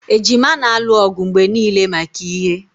Ejima na-alụ ọgụ mgbe niile maka ihe